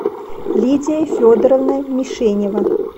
лидия федоровна мишенева